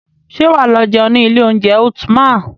Ṣé wà á lọ jẹun ní ilé oúnjẹ Ultima?